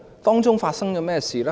當中發生了甚麼事？